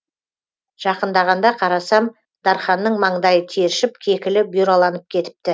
жақындағанда қарасам дарханның маңдайы тершіп кекілі бұйраланып кетіпті